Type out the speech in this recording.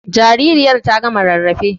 Jaririya ta gama rarrafe.